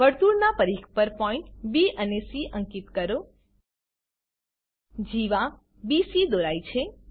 વર્તુળનાં પરિધ પર point B અને સી અંકીત કરો જીવા બીસી દોરાઈ છે